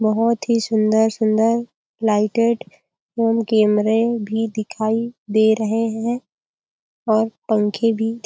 बहोत ही सुन्दर- सुन्दर लाइटेड रूम कैमरे भी दिखाई दे रहे है और पंखे भी --